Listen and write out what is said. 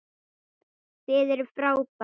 Þið eruð frábær.